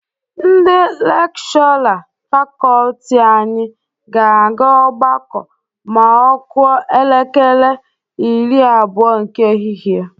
Ndị lekshọra fakọọti anyị ga-aga ọgbakọ ma ọ kụọ elekere iri abụọ nke ehihie.